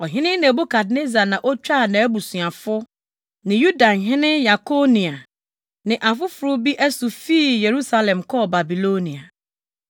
Ɔhene Nebukadnessar na otwaa nʼabusuafo ne Yudahene Yekonia ne afoforo bi asu fii Yerusalem kɔɔ Babilonia.